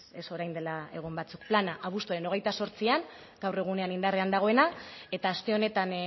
ez orain dela egun batzuk plana abuztuaren hogeita zortzian gaur egunean indarrean dagoena eta aste honetan